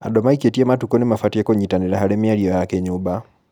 Andũ maikĩtie matukũ nĩmabatie kũnyitanĩra harĩ mĩario ya kĩnyũmba